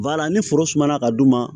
ni foro sumana ka d'u ma